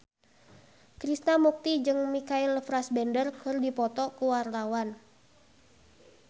Krishna Mukti jeung Michael Fassbender keur dipoto ku wartawan